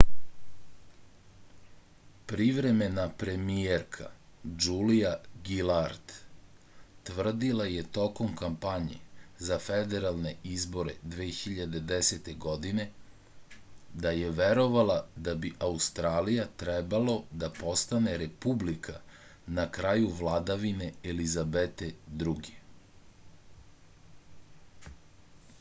privremena premijerka džulija gilard trvdila je tokom kampanje za federalne izbore 2010. godine da je verovala da bi australija trebalo da postane republika na kraju vladavine elizabete ii